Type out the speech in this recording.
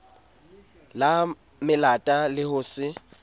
la melata le ho se